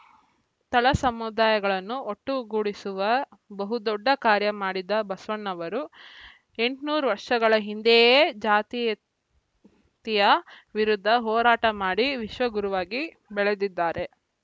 ತಳ ಸಮುದಾಯಗಳನ್ನು ಒಟ್ಟು ಗೂಡಿಸುವ ಬಹುದೊಡ್ಡ ಕಾರ್ಯ ಮಾಡಿದ ಬಸವಣ್ಣನವರು ಎಂಟುನೂರು ವರ್ಷಗಳ ಹಿಂದೆಯೇ ಜಾತಿಯತೆಯ ವಿರುದ್ಧ ಹೋರಾಟ ಮಾಡಿ ವಿಶ್ವ ಗುರುವಾಗಿ ಬೆಳೆದಿದ್ದಾರೆ